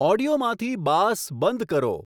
ઓડિયોમાંથી bass બંધ કરો